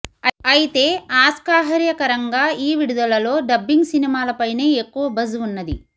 అయితే అస్కాహ్ర్యకరంగా ఈ విడుదలలో డబ్బింగ్ సినిమాలపైనే ఎక్కువ బజ్ ఉన్నది